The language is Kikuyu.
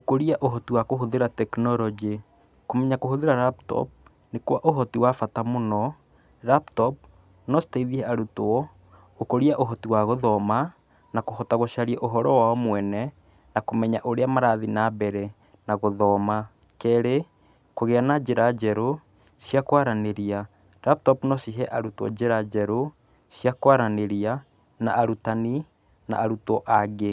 Gũkũria ũhoti wa kũhũthĩra tekinoronjĩ, kũmenya kũhũthĩra laptop nĩ kwa ũhoti wa bata mũno. Laptop no citeithie arutwo gũkũria ũhoti wa gũthoma na kũhota gũcaria ũhoro wao mwene na kũmenya ũrĩa marathie na mbere na gũthoma. Kerĩ kũgĩa na njĩra njerũ cia kwaranĩria laptop no cihe arutwo njĩra njerũ cia kwaranĩria na arutani na arutwo angĩ.